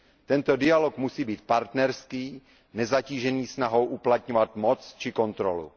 Tento dialog musí být partnerský, nezatížený snahou uplatňovat moc či kontrolu.